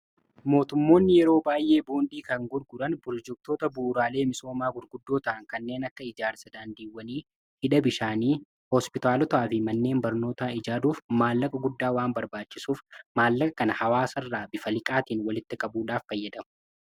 mootummoonni yeroo baay'ee boondii kan gurguran birojektoota buuraalee misoomaa gurguddootaa kanneen akka ijaarsa daandiiwwanii hidha bishaanii hospitaalotaa fi manneen barnootaa ijaaruuf maallaqa guddaa waan barbaachisuuf maallaqa kana hawaasa irraa bifa liqaatiin walitti qabuudhaaf fayyada